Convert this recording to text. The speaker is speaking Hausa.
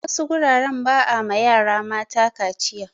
A wasu guraren ba a ma yara mata kaciya.